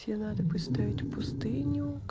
тебе надо поставить пустыню